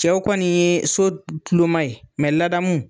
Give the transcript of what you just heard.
Cɛw kɔni nin ye so kulonma ye laadamu